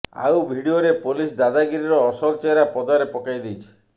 ଆଉ ଭିଡିଓ ରେ ପୋଲିସ ଦାଦାଗିରିର ଅସଲ ଚେହେରା ପଦାରେ ପକାଇ ଦେଇଛି